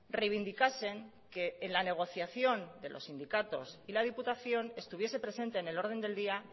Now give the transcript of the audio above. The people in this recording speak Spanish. reivindicasen que en la negociación de los sindicatos y la diputación estuviese presente en el orden del día